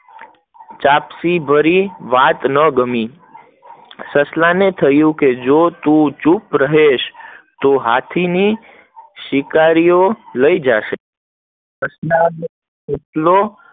ચપટી ભરી વાત ના ગમી, સસલા ને થયું કે જો તું ચૂપ રહીશ તો હાથી ને શિકારીઓ લઇ જશે ને કેટલલો